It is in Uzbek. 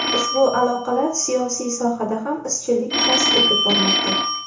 Ushbu aloqalar siyosiy sohada ham izchillik kasb etib bormoqda”.